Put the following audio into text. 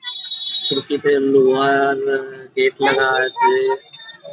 লোহার গেট লাগা আছে ।